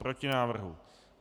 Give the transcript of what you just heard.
Proti návrhu.